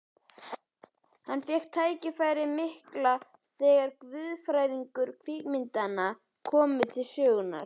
Hann fékk tækifærið mikla þegar guðfræðilegu kvikmyndirnar komu til sögunnar.